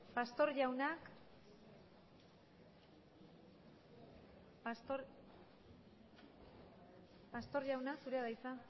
pastor jauna zurea da hitza